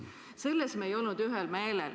Selles me ei olnud ühel meelel.